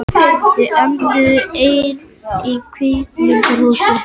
Þau enduðu ein í kvikmyndahúsi